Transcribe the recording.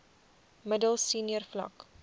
middel senior vlak